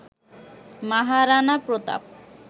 Maharana Pratap